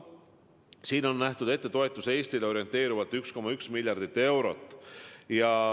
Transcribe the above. Sellest on ette nähtud toetus Eestile orienteerivalt 1,1 miljardit eurot.